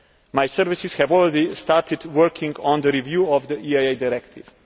My services have already started working on the review of the EIA Directive.